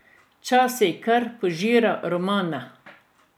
Včasih je kar požiral romane.